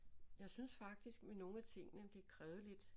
Jeg synes faktisk med nogle af tingene de krævede lidt